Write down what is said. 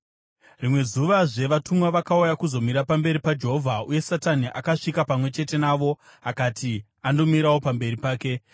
Rimwe zuvazve vatumwa vakauya kuzomira pamberi paJehovha, uye Satani akasvika pamwe chete navo kuti andomirawo pamberi pake.